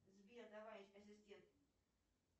сбер давай ассистент